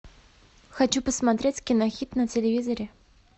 хочу посмотреть кинохит на телевизоре